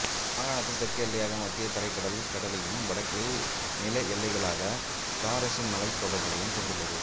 மாகாணத்தின் தெற்கு எல்லையாக மத்திய தரைக்கடல் கடலையும் வடக்கில் நில எல்லைகளாக தாரசு மலைத்தொடர்களைக் கொண்டுள்ளது